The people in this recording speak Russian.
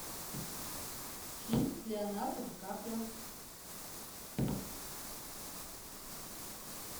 фильм с леонардо ди каприо